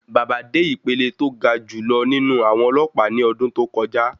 Baba dé ìpele tó ga jù lọ nínú àwọn ọlọ́pàá ní ọdún tó kọjá.